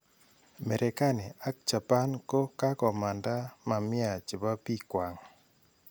Merekani ak Japan ko kakomanda mamia chepo pik kwang.